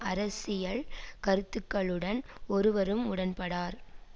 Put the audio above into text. அரசியல் கருத்துருக்களுடன் ஒருவரும் உடன்படார்